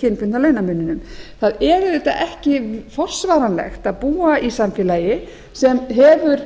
kynbundna launamuninum það er auðvitað ekki forsvaranlegt að búa í samfélagi sem hefur